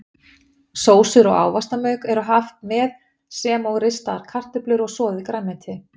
Sósur og ávaxtamauk er haft með sem og ristaðar kartöflur og soðið grænmeti.